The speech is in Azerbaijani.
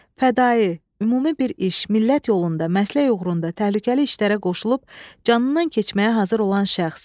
Fədai, ümumi bir iş, millət yolunda, məslək uğrunda təhlükəli işlərə qoşulub, canından keçməyə hazır olan şəxs.